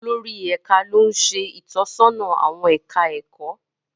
Olórí Ẹka lo n ṣe itọsọna awọn ẹka ẹkọ.